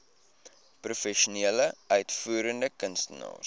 professionele uitvoerende kunstenaars